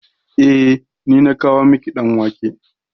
Eh, ni na kawo miki ɗan wake.